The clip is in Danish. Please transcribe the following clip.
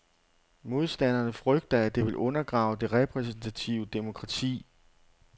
Modstanderne frygter, at det vil undergrave det repræsentative demokrati.